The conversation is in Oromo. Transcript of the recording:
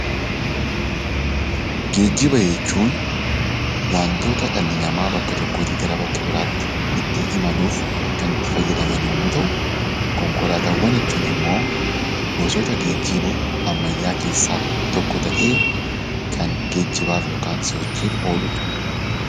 Geejjiba jechuun waantota dhalli namaa bakka tokkootii gara bakka biraatti itti imaluuf kan itti fayyadaman yemmuu ta'u konkolaataawwan jechuun immoo gosoota geejjibaa ammayyaa keessaa tokko ta'ee kan geejjibaaf yookan sochiif ooludha.